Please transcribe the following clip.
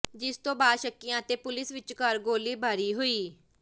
ਜਿਸ ਤੋਂ ਬਾਅਦ ਸ਼ੱਕੀਆਂ ਅਤੇ ਪੁਲਿਸ ਵਿਚਕਾਰ ਗੋਲੀਬਾਰੀ ਹੋਈ